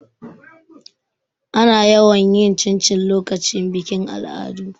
Ana yawan yin cincin lokacin bikin al'adu.